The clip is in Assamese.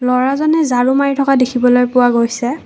ল'ৰাজনে ঝাৰু মাৰি থকা দেখিবলৈ পোৱা গৈছে।